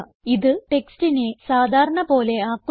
ഇത് ടെക്സ്റ്റിനെ സാധാരണ പോലെ ആക്കുന്നു